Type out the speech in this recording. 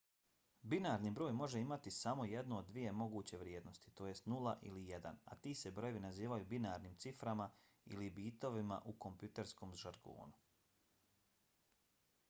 binarni broj može imati samo jednu od dvije moguće vrijednosti tj. 0 ili 1 a ti se brojevi nazivaju binarnim ciframa ili bitovima u kompjuterskom žargonu